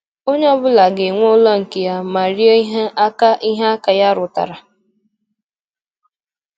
Ónyé ọ bụla ga-enwé ụlọ nkè yá mà ríe íhe ákà íhe ákà yá rútárá.